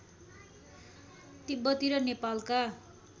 तिब्बती र नेपालका